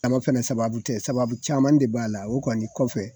fɛnɛ sababu tɛ sababu caman de b'a la, o kɔni kɔfɛ